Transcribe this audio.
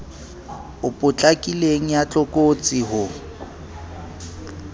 e potlakileng ya tlokotsi ho